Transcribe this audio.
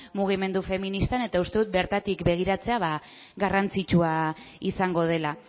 mugimendu feministan eta uste dut bertatik begiratzea garrantzitsua izango dela